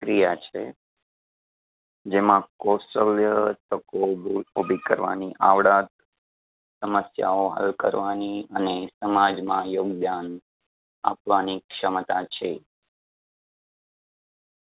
ક્રિયા છે. જેમાં કૌશલ્ય, તકો ઊભી કરવાની આવડત સમસ્યાઓ હલ કરવાની અને સમાજમાં યોગદાન આપવાની ક્ષમતા છે